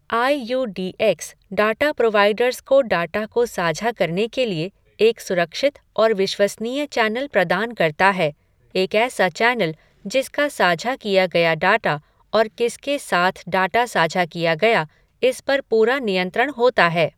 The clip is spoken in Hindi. आई U D X data providers को डाटा को साझा करने के लिए एक सुरक्षित और विश्वसनीय चैनल प्रदान करता है, एक ऐसा चैनल जिसका साझा किया गया डाटा और किसके साथ डाटा साझा किया गया, इस पर पूरा नियंत्रण होता है।